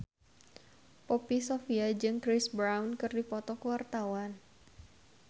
Poppy Sovia jeung Chris Brown keur dipoto ku wartawan